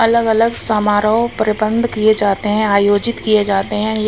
अलग-अलग समारोह प्रबंध किए जाते हैं आयोजित किए जाते हैं ये--